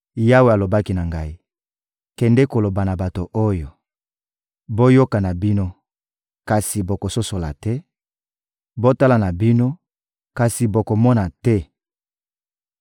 Yawe alobaki na ngai: — Kende koloba na bato oyo: «Boyoka na bino, kasi bokososola te; botala na bino, kasi bokomona te!